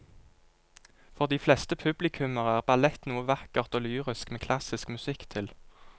For de fleste publikummere er ballett noe vakkert og lyrisk med klassisk musikk til.